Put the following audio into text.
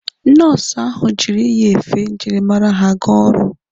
Nọọsụ ahụ jụrụ iyi efe njirimara ha aga ọrụ.